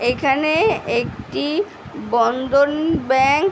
এখানে একটি বন্দন ব্যাঙ্ক --